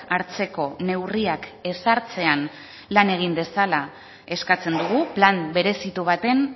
hartzeko neurriak ezartzean lan egin dezala eskatzen dugu plan berezitu baten